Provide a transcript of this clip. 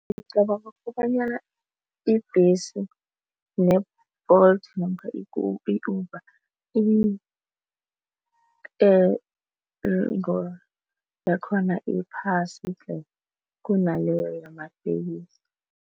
Ngicabanga kobanyana ibhesi ne-Bolt namkha i-Uber yakhona iphasi tle kunaleyo yamatekisi.